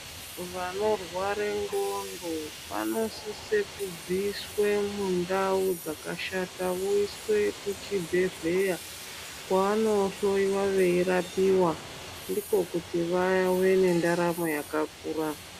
Vanorwara ngonxo vanosisa kubviswa mundau dzakashata voiswa muzvibhedhlera vanohloiwa veirapiwa ndikokuti vave nendaramo yakakura.